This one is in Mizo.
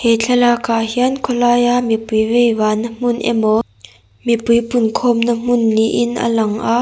he thlalakah hian khawlaia mipui vei vahna hmun emaw mipui pungkhawmna hmun niin a lang a.